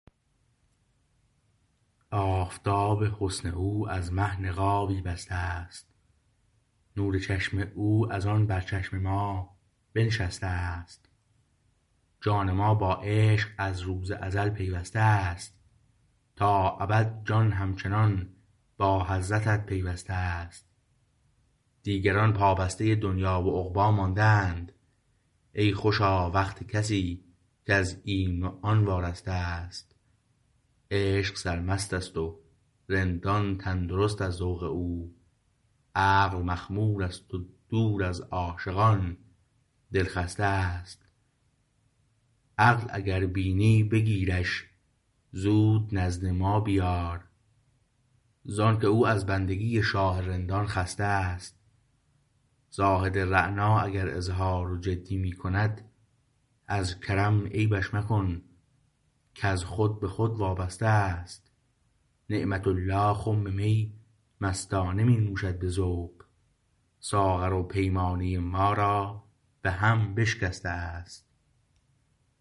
آفتاب حسن او از مه نقابی بسته است نور چشم او از آن بر چشم ما بنشسته است جان ما با عشق از روز ازل پیوسته است تا ابد جان همچنان با حضرتت پیوسته است دیگران پابسته دنیی و عقبی مانده اند ای خوشا وقت کسی کز این و آن وارسته است عشق سرمست است و رندان تندرست ازذوق او عقل مخمور است و دور از عاشقان دلخسته است عقل اگر بینی بگیرش زود نزد ما بیار زآنکه او از بندگی شاه رندان خسته است زاهد رعنا اگر اظهار و جدی می کند از کرم عیبش مکن کز خود به خود وابسته است نعمة الله خم می مستانه می نوشد به ذوق ساغر و پیمانه ما را به هم بشکسته است